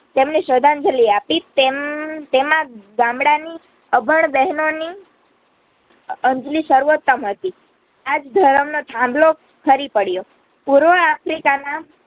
તેમને શ્રદ્ધાંજલી આપી તેમ તેમાં ગામડાંની અભણ બહનોની અ અંજલિ સર્વોત્તમ હતી. આજ ધર્મનો થામલો ખરી પડ્યો. પૂર્વ આફ્રિકાના